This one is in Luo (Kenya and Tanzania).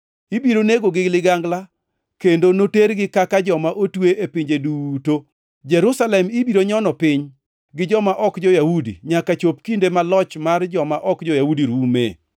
Ibiro negogi gi ligangla kendo notergi kaka joma otwe e pinje duto. Jerusalem ibiro nyono piny gi joma ok jo-Yahudi nyaka chop kinde ma loch mar joma ok jo-Yahudi rume.